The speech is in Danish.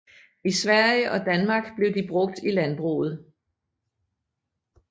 I Sverige og Danmark blev de brugt i landbruget